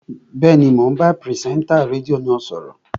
Bẹ́ẹ̀ni, mò ń bá pìrìsẹ́ńtà rédíò náà sọ̀rọ̀